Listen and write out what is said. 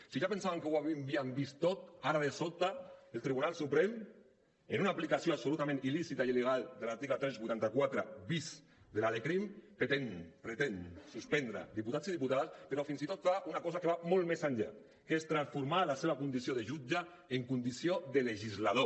si ja pensàvem que ho havíem vist tot ara de sobte el tribunal suprem en una aplicació absolutament il·lícita i il·legal de l’article tres cents i vuitanta quatre bis de la lecrim pretén suspendre diputats i diputades però fins i tot fa una cosa que va molt més enllà que és transformar la seva condició de jutge en condició de legislador